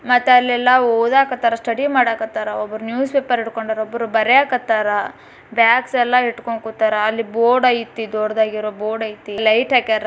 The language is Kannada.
ಮತ್ತ್ ಅಲ್ಲೆಲ್ಲಾ ಓದಾಕತ್ತಾರ ಸ್ಟಡಿ ಮಾಡಾಕತ್ತಾರ ಒಬ್ರು ನ್ಯೂಸ್ಪೇಪರ್ ಹಿಡ್ಕೊಂಡಾರ ಒಬ್ರು ಬರ್ಯಾಕತ್ತಾರ ಬ್ಯಾಗ್ಸೆ ಲ್ಲಾ ಇಟ್ಕೊಂಡ್ ಕೂತಾರ ಅಲ್ಲಿ ಬೋರ್ಡ್ ಐತಿ ದೊಡ್ದಾಗಿರೋ ಬೋರ್ಡ್ ಐತಿ ಲೈಟ್ ಹಾಕ್ಯಾರ್.